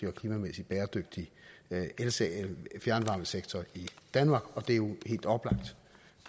og klimamæssigt bæredygtig fjernvarmesektor i danmark det er jo helt oplagt